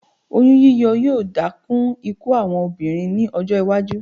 Oyún yíyọ yóò dá kún ikú àwọn obìnrin ní ọjọ́-iwájú.